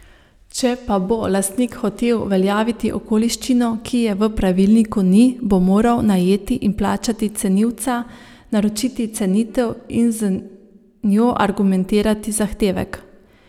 Če pa bo lastnik hotel uveljaviti okoliščino, ki je v pravilniku ni, bo moral najeti in plačati cenilca, naročiti cenitev, in z njo argumentirati zahtevek.